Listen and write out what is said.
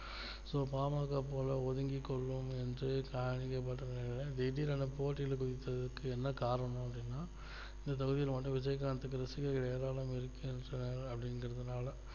so பா ம க போல ஒதுங்கிக்கொள்ளும் என்று திடீரென்று போட்டியிட என்ன காரணம் அப்டினா இந்த தொகுதியில் மட்டும் விஜயகாந்த் ரசிகர்கள் ஏராளம் இருக்கிறது அப்படி என்றதனால